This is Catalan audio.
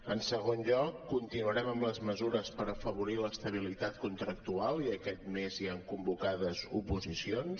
en segon lloc continuarem amb les mesures per afavorir l’estabilitat contractual i aquest mes hi han convocades oposicions